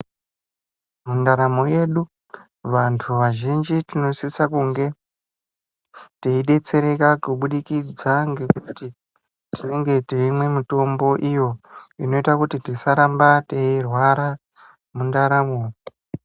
Ndaramo yedu vantu vazhinji tinosisa kunge teidetsereka kubudikidza ngekuti tinenge teimwe mitombo iyo inoita kuti tisarba teirwara mundaramo.